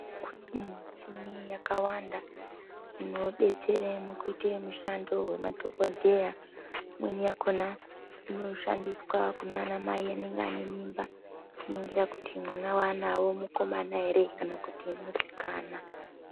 Kune michini yakawanda inodetsera mukuite mushando wemadhokodheya imweni yakona inoshandiswa kunana mai vanenge vaine mimba kuningira kuti mwana waanaye mukomana ere kana kuti musikana.